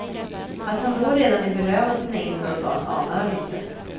Att han då redan är berövad sina inre organ anar han inte.